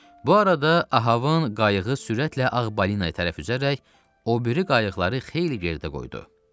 Bu arada Ahvanın qayığı sürətlə ağ balinaya tərəf üzərək, o biri qayıqları xeyli geridə qoydu.